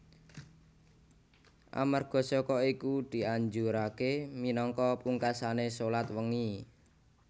Amarga saka iku dianjuraké minangka pungkasané shalat wengi